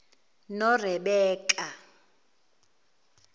norebeka